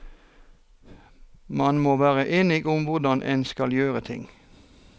Man må være enige om hvordan en skal gjøre ting.